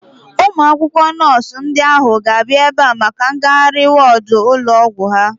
Ụmụ akwụkwọ nọọsu ndị ahu ga-abịa ebea maka ngagharị wọọdu ụlọ ọgwụ ha